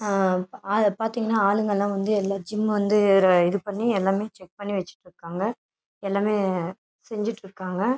ஆள பாத்திங்கனா ஆளுங்கலாம் வந்து எல்லா ஜிம் வந்து இது பண்ணி எல்லாமே செக் பண்ணி வச்சுட்டு இருக்காங்க எல்லாமே செஞ்சுட்டு இருக்காங்க.